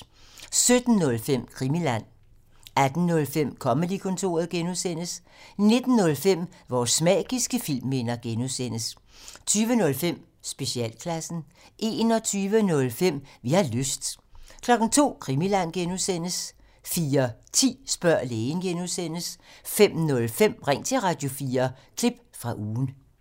17:05: Krimiland 18:05: Comedy-kontoret (G) 19:05: Vores magiske filmminder (G) 20:05: Specialklassen 21:05: Vi har lyst 02:00: Krimiland (G) 04:10: Spørg lægen (G) 05:05: Ring til Radio4 – klip fra ugen